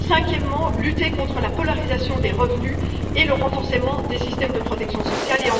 cinquièmement, lutter contre la polarisation des revenus et renforcer les systèmes de protection sociale